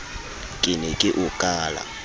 ke ne ke o kala